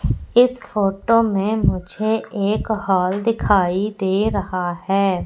इस फोटो में मुझे एक हॉल दिखाई दे रहा है।